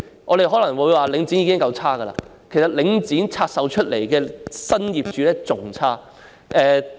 我們可能會說領展已經很差劣，但拆售出來的新業主更差。